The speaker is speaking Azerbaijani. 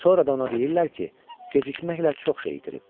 Sonra da ona deyirlər ki, gecikməklə çox şey itirib.